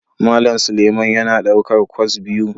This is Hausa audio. Malam Suleman yana daukar kwas biyu.